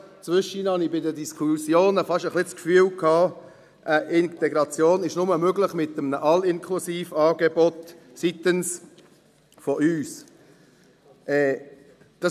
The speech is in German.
Zwischendurch hatte ich bei den Diskussionen ein wenig das Gefühl, Integration sei nur mit einem All-inclusive-Angebot von unserer Seite.